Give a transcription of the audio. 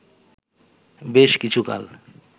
বেশ কিছুকাল